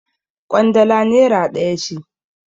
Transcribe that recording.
Ƙwandala nera ɗaya ce.